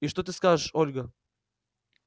и что ты скажешь ольга